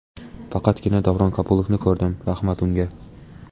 Faqatgina Davron Kabulovni ko‘rdim, rahmat unga.